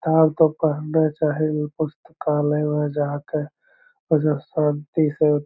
आहां के पढ़ना चाही उ पुस्तकालय में जहां पर जो शांति से --